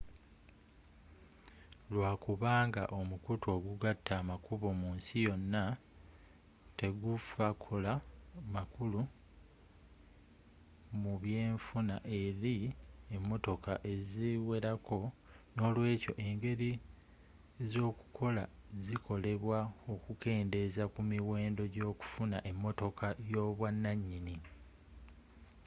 lwakubanga omukutu ogugatta amakubo mu nsi yonna tegfakola makulu mubyenfuna eri emotoka eziwerako noolwekyo engeri ezokukola zikolebwa okukendeeza ku miwendo gyokufuna emotoka yobwananyini